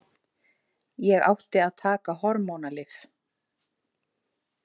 Ég átti að taka hormónalyf.